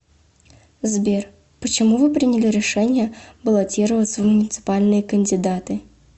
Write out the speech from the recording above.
сбер почему вы приняли решение баллотироваться в муниципальные кандидаты